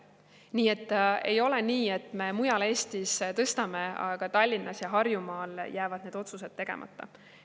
Nii et ei ole nii, et me mujal Eestis tõstame, aga Tallinnas ja Harjumaal jäävad need otsused tegemata.